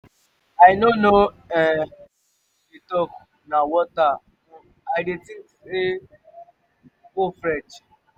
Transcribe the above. i no know um wetin you dey talk na water um i dey um go fetch